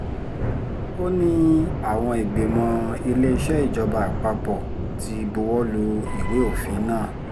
ó ní àwọn ìgbìmọ̀ iléeṣẹ́ ìjọba àpapọ̀ ti buwọ́ lu ìwé òfin náà